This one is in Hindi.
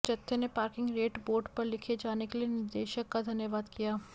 जत्थे ने पार्किंग रेट बोर्ड पर लिखे जाने के लिए निर्देशक का धन्यवाद किया